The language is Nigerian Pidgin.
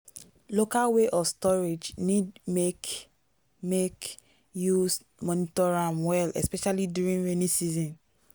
local way of storage need make make you monitor am well especially during rainy season.